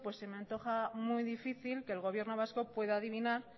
pues se me antoja muy difícil que el gobierno vasco pueda adivinar